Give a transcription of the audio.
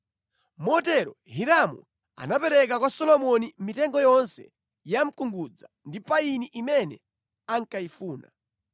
Motero Hiramu anapereka kwa Solomoni mitengo yonse ya mkungudza ndi payini imene ankayifuna,